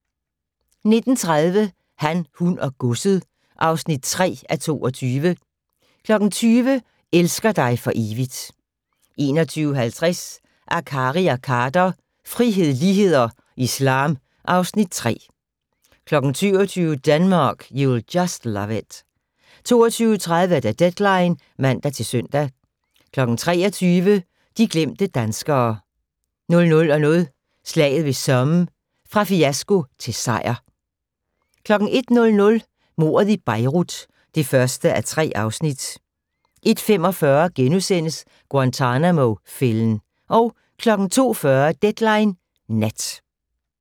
19:30: Han, hun og godset (3:22) 20:00: Elsker dig for evigt 21:50: Akkari og Khader - frihed, lighed og islam (Afs. 3) 22:00: Denmark, you'll just love it 22:30: Deadline (man-søn) 23:00: De glemte danskere 00:00: Slaget ved Somme - fra fiasko til sejr 01:00: Mordet i Beirut (1:3) 01:45: Guantanamo-fælden * 02:40: Deadline Nat